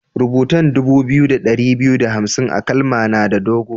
Rubutan dubu biyu da dari biyu da hamsin a'kalma na da dogo.